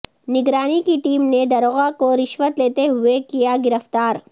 نگرانی کی ٹیم نے داروغہ کو رشوت لیتے ہوئے کیا گرفتار